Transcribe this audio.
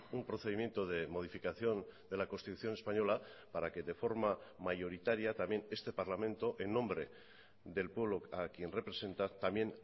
un procedimiento de modificación de la constitución española para que de forma mayoritaria también este parlamento en nombre del pueblo a quien representa también